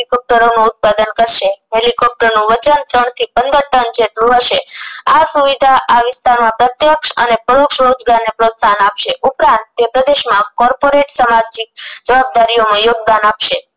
હેલિકોપટેરો નું ઉત્પાદન કરશે હેલીકોપ્ટર નું વજન ત્રણ થી પંદર ટન જેટલું હશે આ સુવિધા આ વિસ્તાર માં પ્રત્યક્ષ અને પરોક્ષ રોજગાર ને પ્રોત્સાહન આપશે ઉપરાંત તે પ્રદેશ માં કોર્પારેટ સમાજની જવાબદારીઑ માં યોગદાન આપશે